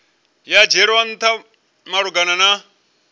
ya dzhielwa ntha malugana na